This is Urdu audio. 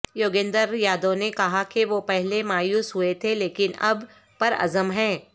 یوگیندر یادو نے کہا کہ وہ پہلے مایوس ہوئے تھے لیکن اب پرعزم ہیں